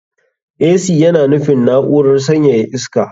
Ac yana nufin na'urar sanyaya iska.